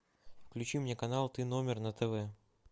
включи мне канал ты номер на тв